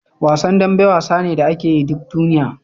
Wasan dambe wasa ne da akeyi duk duniya